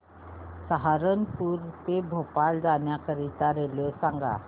सहारनपुर ते भोपाळ जाण्यासाठी रेल्वे सांग